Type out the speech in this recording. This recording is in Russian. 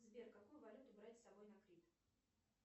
сбер какую валюту брать с собой на крит